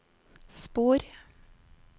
spor